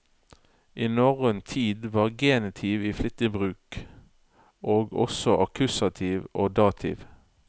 I norrøn tid var genitiv i flittig bruk, og også akkusativ og dativ.